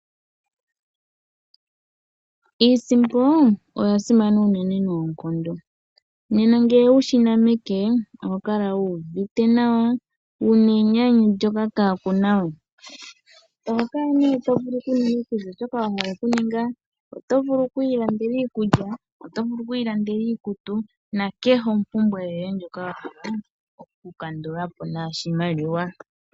Iisimpo oya simana noonkondo. Uuna wu yi na meke oho kala wu uvite nawa, wu na enyanyu kaaku na we. Oho kala to vulu okuninga kehe shoka wa hala okuninga. Oto vulu oku ilandela iikulya, oto vulu oku ilandela iikutu nakehe ompumbwe yoye ndjoka wa hala okukandula po noshimaliwa.